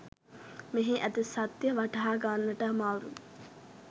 මෙහි ඇති සත්‍ය වටහා ගන්නට අමාරුයි